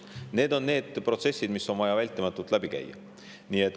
Need on need protsessid, mis on vaja vältimatult läbi käia.